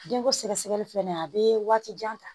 Denko sɛgɛsɛgɛli fɛnɛ a bɛ waati jan ta